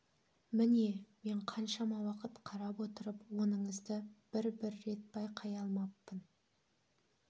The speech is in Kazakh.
міне мен қаншама уақыт қарап отырып оныңызды бір бір рет байқай алмаппын